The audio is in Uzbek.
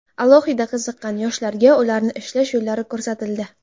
Alohida qiziqqan yoshlarga ularni ishlash yo‘llari ko‘rsatildi.